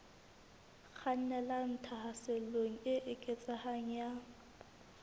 kgannelang tlhaselong e eketsehang ya